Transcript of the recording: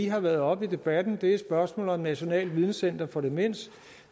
har været oppe i debatten det er spørgsmålet om nationalt videnscenter for demens